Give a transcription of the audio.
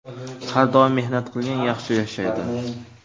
Har doim mehnat qilgan yaxshi yashaydi”.